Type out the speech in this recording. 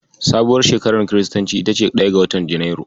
Sabuwar shekarar kiristanci ita ce ɗaya ga watan Junairu.